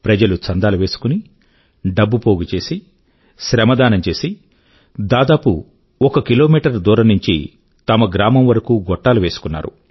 ప్రజలు చందాలు వేసుకుని డబ్బు పోగుచేసి శ్రమదానం చేసి దాదాపు ఒక కిలో మీటర్ దూరం నుంచి తమ గ్రామం వరకూ గొట్టాలు వేసుకున్నారు